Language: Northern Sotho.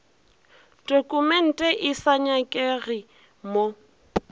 tokumente e sa nyakege mo